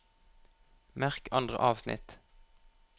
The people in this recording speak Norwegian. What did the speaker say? Merk andre avsnitt